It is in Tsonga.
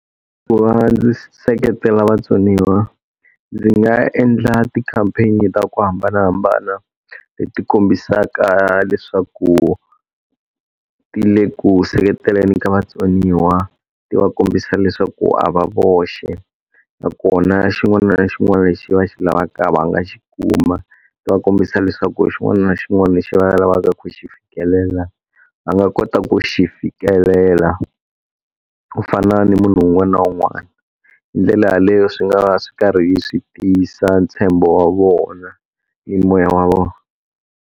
Ku va ndzi seketela vatsoniwa, ndzi nga endla ti-campaign-i ta ku hambanahambana leti kombisaka leswaku ti le ku seketeleni ka vatsoniwa. Ti va kombisa leswaku a va voxe, nakona xin'wana na xin'wana lexi va xi lavaka va nga xi kuma. Ni va kombisa leswaku xin'wana na xin'wana lexi va lavaka ku xi fikelela va nga kota ku xi fikelela, ku fana ni munhu un'wana na un'wana. Hi ndlela yaleyo swi nga va swi karhi swi tiyisa ntshembo wa vona ni moya wa vona.